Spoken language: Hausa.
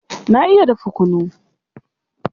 Na iya dafa kunu.